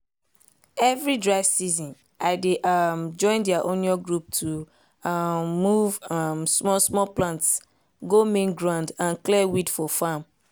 every dry season i dey um join their onion group to um move um small-small plant go main ground and clear weed for farm.